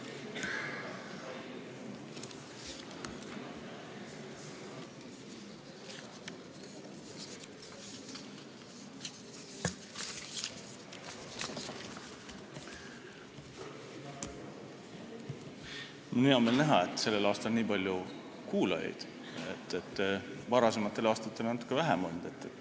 Mul on hea meel näha, et sellel aastal on nii palju kuulajaid, varasematel aastatel on olnud natuke vähem.